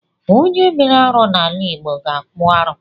Onye mere arụ n’ala Igbo ga-akpụ arụ